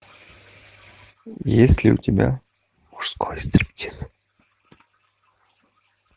есть ли у тебя мужской стриптиз